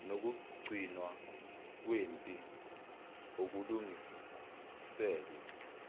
nokugcinwa kwempi okulungiselwe